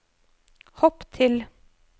hopp til